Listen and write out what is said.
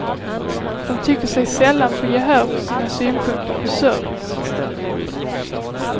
De tycker sig sällan få gehör för sina synpunkter på service.